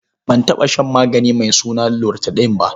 Ban taɓa shan magani mai suna loratadin ba.